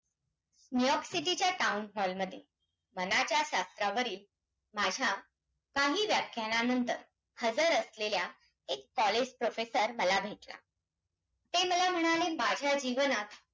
जी की केंद्र व राज्य दरमन्यान राजखुशी संबंदचे चौकत पूर्णवण्याचे महत्वाचे कार्यकर्ते.